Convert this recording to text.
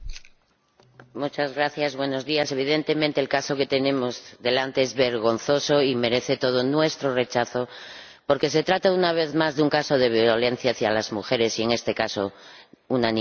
Señora Presidenta, evidentemente el caso que tenemos delante es vergonzoso y merece todo nuestro rechazo porque se trata, una vez más, de un caso de violencia hacia las mujeres y, en este caso, una niña.